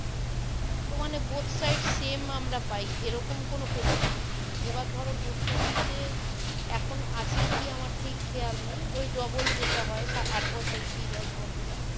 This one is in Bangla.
তো মনে both side সেম আমরা পাই এ রকম কোনো facilities নেই এবার ধরো post office এ এখন আছে কি আমার ঠিক খেয়াল নেই ওই double হয় ওই আট বছর কি দশ বছরের